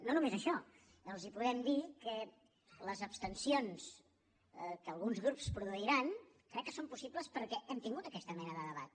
no només això els podem dir que les abstencions que alguns grups produiran crec que són possibles perquè hem tingut aquesta mena de debat